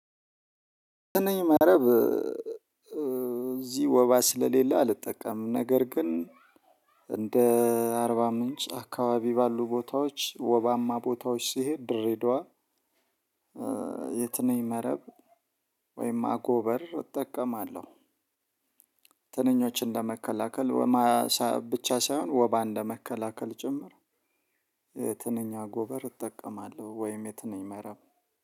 ትንኝ መረብ እዚህ ወባ ስለሌለ አልጠቀምም ነገር ግን አርባ ምንጭ አካባቢ ባሉ ቦታዎች ወባማ ቦታዎች ስሄድ ድሬዳዋ። የትንኝ መረብ ወይም አጎበር እጠቀማለሁ። ትንኞች እንደመከላከል ብቻ ሳይሆን ወባን ለመከላከል ጭምር። ትንኛ አጎበር እጠቀማለሁ ወይም የትንኛ መረብ